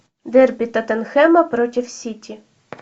дерби тоттенхэма против сити